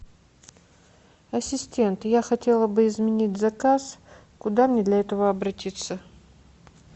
ассистент я хотела бы изменить заказ куда мне для этого обратиться